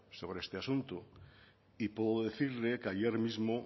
sobre este asunto y puedo decirle que ayer mismo